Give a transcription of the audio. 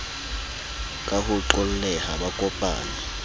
ka ho qolleha ba kopanye